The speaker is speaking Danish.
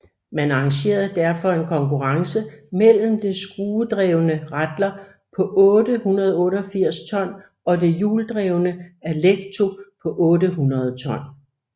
Man arrangerede derfor en konkurrence mellem det skruedrevne Rattler på 888 ton og det hjuldrevne Alecto på 800 ton